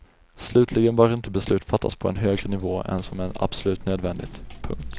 Slutligen bör inte beslut fattas på en högre nivå än som är absolut nödvändigt. punkt